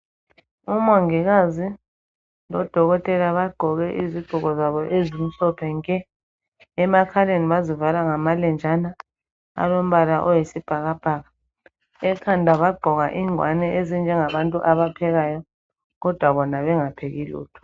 Umongikazi lodokotela baqoke iziqoko zabo ezimhlophe nke, emakhaleni bazivala ngamalenjana owombala oyisibhakabhaka. Ekhanda baqoka ingwane ezinje ngabantu abaphekayo kodwa bona bengapheki lutho.